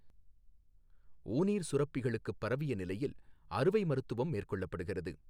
ஊநீர் சுரப்பிகளுக்குப் பரவிய நிலையில் அறுவை மருத்துவம் மேற்கொள்ளற்படுகிறது.